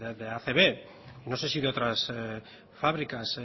de acb no sé si de otras fábricas